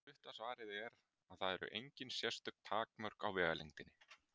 Stutta svarið er að það eru engin sérstök takmörk á vegalengdinni.